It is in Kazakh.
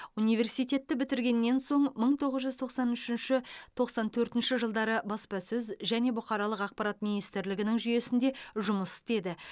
университетті бітіргеннен соң мың тоғыз жүз тоқсан үшінші тоқсан төртінші жылдары баспасөз және бұқаралық ақпарат министрлігінің жүйесінде жұмыс істеді